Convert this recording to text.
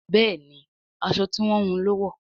Béèni aṣọ tí wón wun ló wọ.